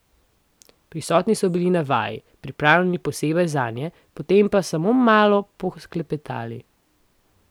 Prisotni so bili na vaji, pripravljeni posebej zanje, potem pa smo malo poklepetali.